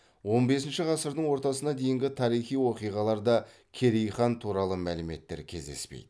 он бесінші ғасырдың ортасына дейінгі тарихи оқиғаларда керей хан туралы мәліметтер кездеспейді